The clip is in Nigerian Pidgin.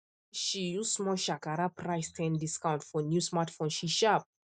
she use small shakara price ten discount for new smartphone she sharp